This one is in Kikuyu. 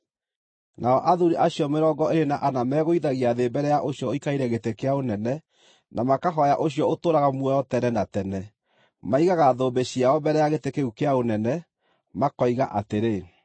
nao athuuri acio mĩrongo ĩĩrĩ na ana megũithagia thĩ mbere ya ũcio ũikarĩire gĩtĩ kĩa ũnene, na makahooya ũcio ũtũũraga muoyo tene na tene. Maigaga thũmbĩ ciao mbere ya gĩtĩ kĩu kĩa ũnene, makoiga atĩrĩ: